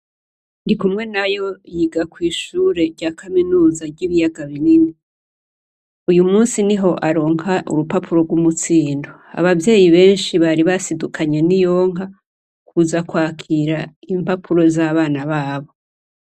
Ndikumwenayo yiga kwishure rya kaminuza ry' Ibiyaga Binini . Uyu munsi niho aronka urupapuro rw' umutsindo. Abavyeyi benshi bari basidukanye n' iyonka, kuza kwakira impapuro z' abana babo.